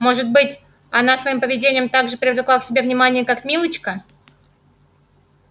может быть она своим поведением так же привлекала к себе внимание как милочка